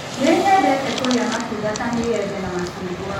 Nĩ nyendete kũrĩa matunda ta mĩembe na macungwa.